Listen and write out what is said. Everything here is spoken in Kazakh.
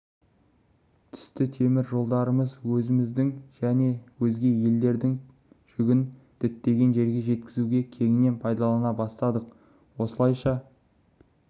түсті темір жолдарымызды өзіміздің және өзге елдердің жүгін діттеген жерге жеткізуге кеңінен пайдалана бастадық осылайша